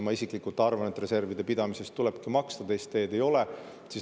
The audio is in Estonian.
Ma isiklikult arvan, et reservide pidamise eest tulebki maksta, teist teed ei ole.